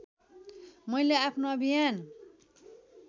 मैले आफ्नो अभियान